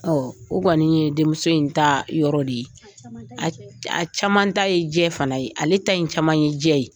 Ɔ o kɔni ye denmuso in ta yɔrɔ de ye a caman ta ye jɛ fana ye ale ta ye caman ye jɛ ye